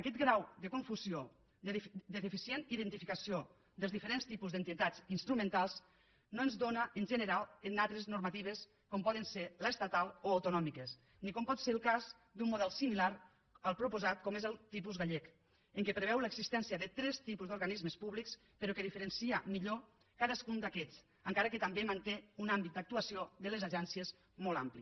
aquest grau de confusió de deficient identificació dels diferents tipus d’entitats instrumentals no es dóna en general en altres normatives com poden ser l’estatal o les autonòmiques ni com pot ser el cas d’un model similar al proposat com és el tipus gallec en què preveu l’existència de tres tipus d’organismes públics però que diferencia millor cadascun d’aquests encara que també manté un àmbit d’actuació de les agències molt ampli